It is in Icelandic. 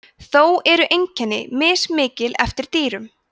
þó eru einkenni mismikil eftir dýrum